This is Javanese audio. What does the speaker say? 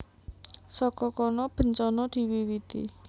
Saka kono bencana diwiwiti